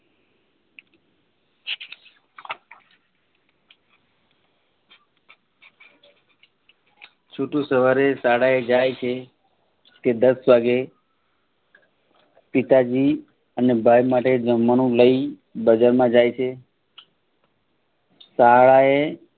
છોટુ સવારે શાળાએ જાય છે. તે દસ વાગ્યે પિતાજી અને ભાઈ માટે જમવાનું જમવાનું લઇ બજાર માંજાય છે. શાળાએ